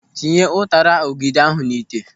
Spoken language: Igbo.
Tinye ụtara ọ́gẹ̀dẹ̀ ahụ n'ite.